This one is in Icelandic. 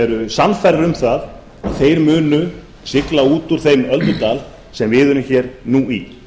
eru sannfærðir um það að þeir munu sigla út úr þeim öldudal sem við erum hér nú í